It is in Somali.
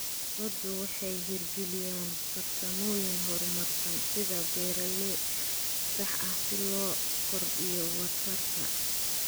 Ururadu waxay hirgeliyaan farsamooyin horumarsan sida beeralayn sax ah si loo kordhiyo waxtarka.